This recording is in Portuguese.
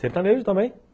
Sertanejo também